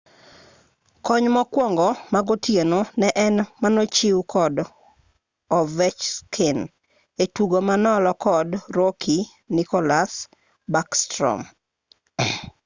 kony mokwongo magotieno ne en manochiw kod ovechkin e tugo manolo kod rookie nicholas backstrom